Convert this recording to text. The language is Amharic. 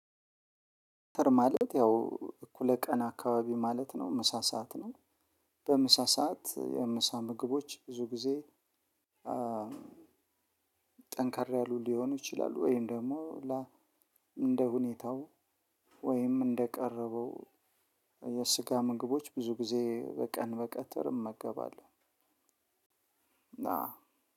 ማለት ያው እኩለ ቀን አካባቢ ማለት ነው። ምሳ ሰዓት ነው። በምሳ ሰዓት የምሳ ምግቦች ብዙ ጊዜ ጠንከር ያሉ ሊሆኑ ይችላሉ። ወይም ደግሞ እንደ ሁኔታው፤ ወይም እንደቀረበው የስጋ ምግቦች ብዙ ጊዜ በቀን በቀጥርም እመገባለሁ ና